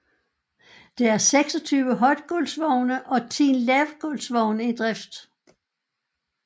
Der er 26 højtgulvsvogne og 10 lavtgulvsvogne i drift